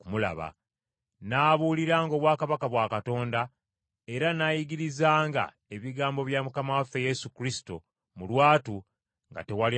N’abuuliranga obwakabaka bwa Katonda, era n’ayigirizanga ebigambo bya Mukama waffe Yesu Kristo mu lwatu nga tewali amuziyiza.